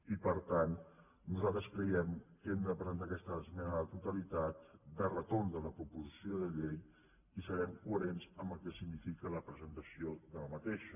i per tant nosaltres creiem que hem de presentar aquesta esmena a la totalitat de retorn de la proposició de llei i serem coherents amb el que significa la pre·sentació d’aquesta